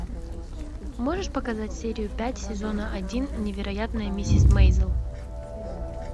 можешь показать серию пять сезона один невероятная миссис мейзел